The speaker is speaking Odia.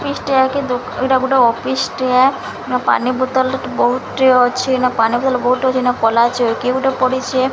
ଅଫିସ୍ ଟିଏ କି ଦୁ ଏଇଟା ଗୋଟେ ଅଫିସ୍ ଟିଏ। ଏନ ପାନି ବୋତଲ୍ ବୋହୁତଟିଏ ଅଛି। ଏନା ପାନି ଭଲ୍ ବୋହୁଟ୍ ଅଛି। ଏନ କଲା ଚୋଉକି ଗୋଟେ ପଡ଼ିଚେ।